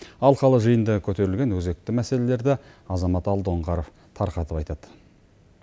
алқалы жиында көтерілген өзекті мәселелерді азамат алдоңғаров тарқатып айтады